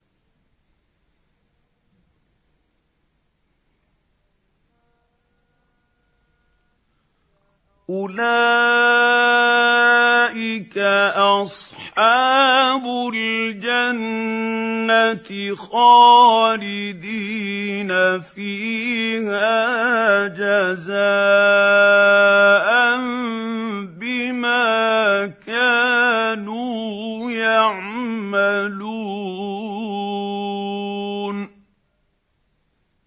أُولَٰئِكَ أَصْحَابُ الْجَنَّةِ خَالِدِينَ فِيهَا جَزَاءً بِمَا كَانُوا يَعْمَلُونَ